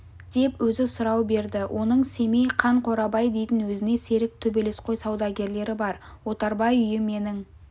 деп өзі сұрау берді оның семей қан қорабай дейтін өзіне серік төбелесқой саудагерлері бар отарбай үйі менің